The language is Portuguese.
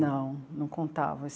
Não, não contavam.